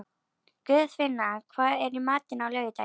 Guðfinna, hvað er í matinn á laugardaginn?